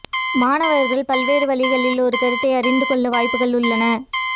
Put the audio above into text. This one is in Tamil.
மாணவர்கள் பல்வேறு வழிகளில் ஒரு கருத்தை அறிந்து கொள்ள வாய்ப்புகள் உள்ளன